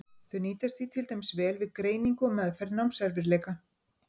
Þau nýtast því til dæmis vel við greiningu og meðferð námserfiðleika.